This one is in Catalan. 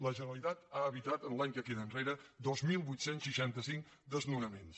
la generalitat ha evitat en l’any que queda enrere dos mil vuit cents i seixanta cinc desnonaments